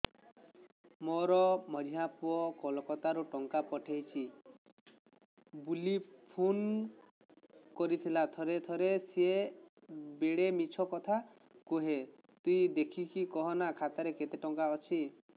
ମୋର ମଝିଆ ପୁଅ କୋଲକତା ରୁ ଟଙ୍କା ପଠେଇଚି ବୁଲି ଫୁନ କରିଥିଲା ଥରେ ଥରେ ସିଏ ବେଡେ ମିଛ କଥା କୁହେ ତୁଇ ଦେଖିକି କହନା ଖାତାରେ କେତ ଟଙ୍କା ଅଛି